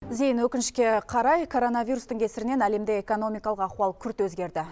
зейін өкінішке қарай коронавирустың кесірінен әлемде экономикалық ахуал күрт өзгерді